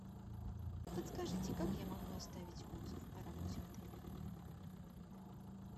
подскажите как я могу оставить отзыв о работе отеля